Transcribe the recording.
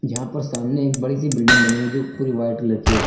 यहां पर सामने एक बड़ी सी बिल्डिंग बनी हुई है जो पूरी व्हाइट कलर की है।